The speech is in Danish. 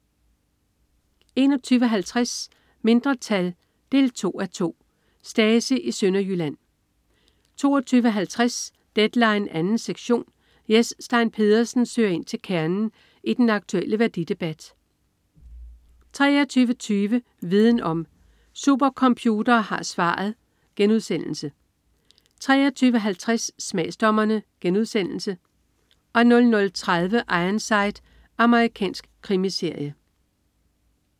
21.50 Mindretal 2:2. Stasi i Sønderjylland 22.50 Deadline 2. sektion. Jes Stein Pedersen søger ind til kernen i den aktuelle værdidebat 23.20 Viden om: Supercomputere har svaret* 23.50 Smagsdommerne* 00.30 Ironside. Amerikansk krimiserie